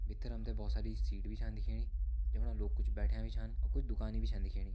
भित्तर हमथे भौत सारी सीट भी छन दिखेणी जू फणा लोग कुछ बेठ्या भी छन अ कुछ दुकानी भी छन दिखेणी।